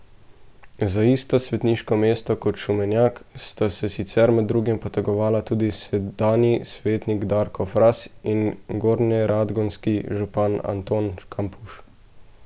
Za isto svetniško mesto kot Šumenjak sta se sicer med drugim potegovala tudi sedanji svetnik Darko Fras in gornjeradgonski župan Anton Kampuš.